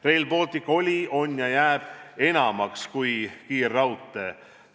Rail Baltic oli, on ja jääb enamaks kui kiirraudtee.